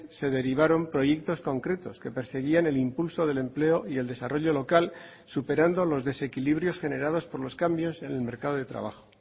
se derivaron proyectos concretos que perseguían el impulso del empleo y el desarrollo local superando los desequilibrios generados por los cambios en el mercado de trabajo